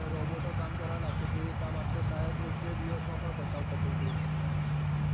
અજઈશું ને roboto કામકરવા લાગશે તો એ કામ આપણે શાયદ એક બે દિવસ માં પણ પતાવ પતી જઈશું